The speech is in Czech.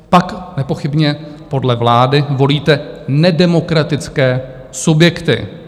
Pak nepochybně podle vlády volíte nedemokratické subjekty.